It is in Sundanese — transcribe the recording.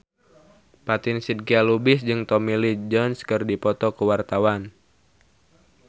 Fatin Shidqia Lubis jeung Tommy Lee Jones keur dipoto ku wartawan